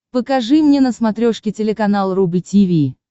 покажи мне на смотрешке телеканал рубль ти ви